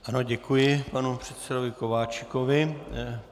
Ano, děkuji panu předsedovi Kováčikovi.